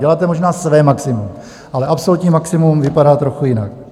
Děláte možná své maximum, ale absolutní maximum vypadá trochu jinak.